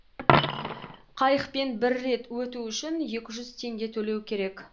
қайықпен бір рет өту үшін екі жүз теңге төлеу керек